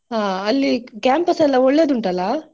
ಹಾಅಲ್ಲಿ campus ಎಲ್ಲ ಒಳ್ಳೇದ ಉಂಟಲ್ಲಾ.